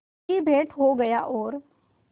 की भेंट हो गया और